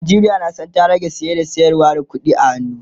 Najeriya na San ta rage saye da sayarwa da ƙuɗi a hannu